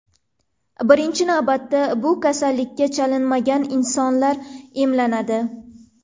Birinchi navbatda bu kasallikka chalinmagan insonlar emlanadi.